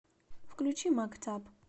включи мактаб